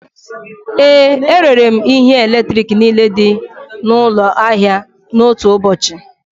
Ee, erere m ihe eletrik niile dị n'ụlọ ahịa n'otu ụbọchị